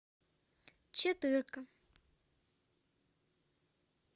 четырка